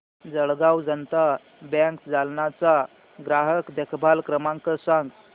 Jalgaon Janata bank Jalna चा ग्राहक देखभाल क्रमांक सांग